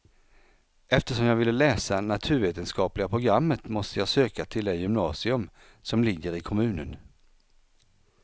Eftersom jag ville läsa naturvetenskapliga programmet måste jag söka till det gymnasium som ligger i kommunen.